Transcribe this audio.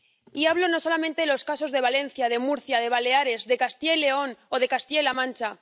Y hablo no solamente de los casos de Valencia, de Murcia, de Baleares, de Castilla y León o de Castilla La Mancha.